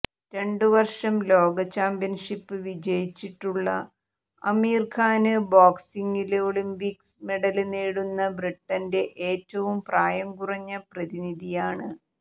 രണ്ടു വര്ഷം ലോകചാമ്പ്യന്ഷിപ്പ് വിജയിച്ചിട്ടുള്ള അമീര് ഖാന് ബോക്സിംഗില് ഒളിംപിക്സ് മെഡല് നേടുന്ന ബ്രിട്ടന്റെ ഏറ്റവും പ്രായം കുറഞ്ഞ പ്രതിനിധിയാണ്